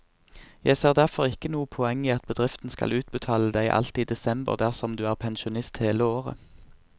Jeg ser derfor ikke noe poeng i at bedriften skal utbetale deg alt i desember dersom du er pensjonist hele året.